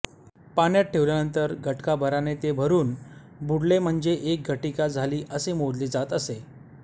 पाण्यात ठेवल्यानंतर घटकाभराने ते भरून बुडले म्हणजे एक घटिका झाली असे मोजले जात असे